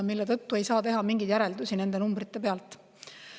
Seetõttu ei saa teha nende numbrite põhjal mingeid järeldusi.